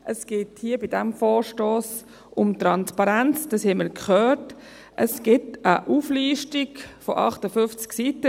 Es gibt eine Liste, die 58 Seiten umfasst, das haben wir auch gehört.